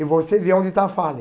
E você vê onde está a falha.